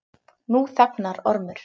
Nú þagnaði Ormur.